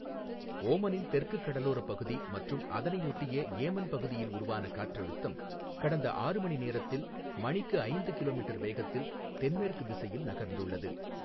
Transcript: ஓமனின் தெற்குக் கடலோரப்பகுதி மற்றும் அதனையொட்டிய ஏமன் பகுதியில் உருவான காற்றழுத்தம், கடந்த ஆறு மணி நேரத்தில் மணிக்கு ஐந்து கிலோமீட்டர் வேகத்தில் தென்மேற்கு திசையில் நகர்ந்துள்ளது.